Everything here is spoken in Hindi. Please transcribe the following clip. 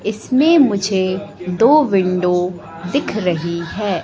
इसमें मुझे दो विंडो दिख रही है।